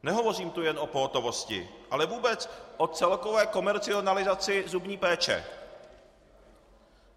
Nehovořím tu jen o pohotovosti, ale vůbec o celkové komercionalizaci zubní péče.